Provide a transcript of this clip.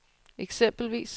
eksempelvis